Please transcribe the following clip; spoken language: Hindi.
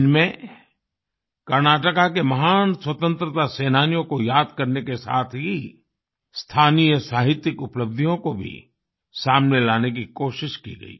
इनमें कर्नाटका के महान स्वतंत्रता सेनानियों को याद करने के साथ ही स्थानीय साहित्यिक उपलब्धियों को भी सामने लाने की कोशिश की गई